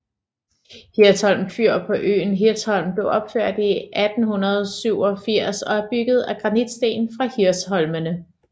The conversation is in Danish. Hirsholm Fyr på øen Hirsholm blev opført i 1887 er bygget af granitsten fra Hirsholmene